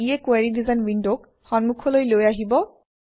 ইয়ে query design উইণ্ডক সন্মুখলৈ লৈ আহিব